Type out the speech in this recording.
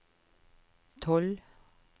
tolv